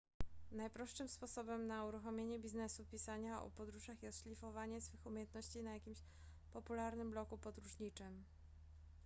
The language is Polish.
najprostszym sposobem na uruchomienie biznesu pisania o podróżach jest szlifowanie swych umiejętności na jakimś popularnym blogu podróżniczym